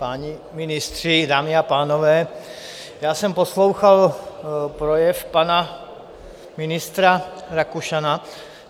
Páni ministři, dámy a pánové, já jsem poslouchal projev pana ministra Rakušana.